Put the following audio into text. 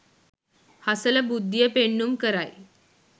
හසල බුද්ධිය පෙන්නුම් කරයි